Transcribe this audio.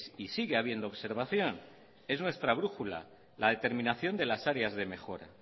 y sigue habiendo observación es nuestra brújula la determinación de las áreas de mejora